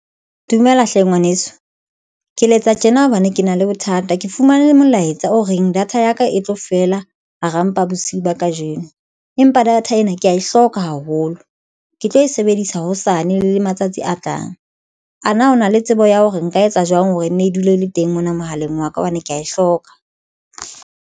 Dumela hle ngwaneso, ke letsa tjena hobane ke na le bothata, ke fumane molaetsa o reng data ya ka e tlo fela hara mpa bosiu ba kajeno, empa data ena kea e hloka hlokwa haholo. Ke tlo e sebedisa hosane le matsatsi a tlang ana. Ho na le tsebo ya hore nka etsa jwang hore e nne e dule e le teng mona mohaleng wa ka hobane ke ya e hloka.